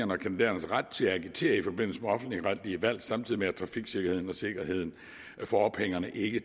og kandidaternes ret til at agitere i forbindelse med offentligretlige valg samtidig med at trafiksikkerheden og sikkerheden for ophængerne ikke